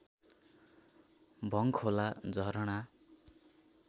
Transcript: Bhangkhola झरणा